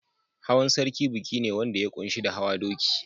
Hawan sarki biki ne wanda ya ƙunshi da hawa doki.